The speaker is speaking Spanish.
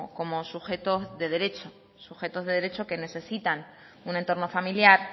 como sujetos de derecho sujetos de derecho que necesitan un entorno familiar